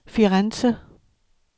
Firenze